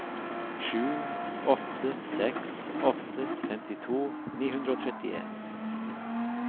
sju åtte seks åtte femtito ni hundre og trettien